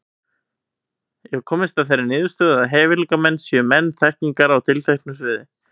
Ég hef komist að þeirri niðurstöðu, að hæfileikamenn séu menn þekkingar á tilteknu sviði.